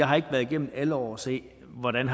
har været igennem alle år og set hvordan